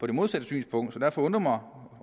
det modsatte synspunkt derfor undrer